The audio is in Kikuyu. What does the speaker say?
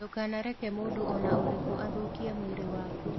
Ndũkanareke mũndũ o na ũrĩkũ athũkie mwĩrĩ waku.